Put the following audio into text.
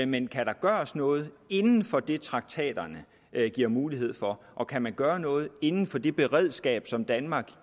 men kan der gøres noget inden for det traktaterne giver mulighed for og kan man gøre noget inden for det beredskab som danmark